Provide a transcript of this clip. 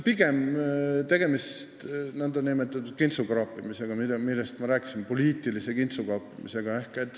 Pigem on tegemist nn poliitilise kintsukaapimisega, millest ma rääkisin.